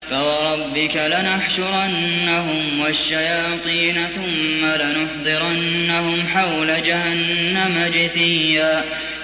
فَوَرَبِّكَ لَنَحْشُرَنَّهُمْ وَالشَّيَاطِينَ ثُمَّ لَنُحْضِرَنَّهُمْ حَوْلَ جَهَنَّمَ جِثِيًّا